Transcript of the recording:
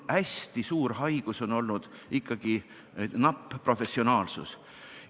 Hästi suur haigus on olnud ikkagi napp professionaalsus.